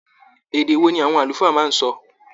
Èdè wò ní àwọn àlùfáà máa n sọ?